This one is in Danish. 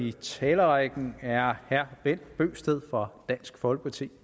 i talerækken er herre bent bøgsted fra dansk folkeparti